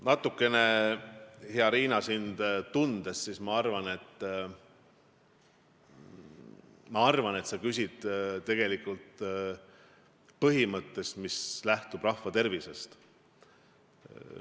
Natukene, hea Riina, sind tundes, ma arvan, et sa küsid tegelikult põhimõtte kohta, mis lähtub rahva tervisest.